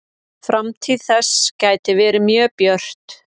Framtíð þess gæti verið mjög björt.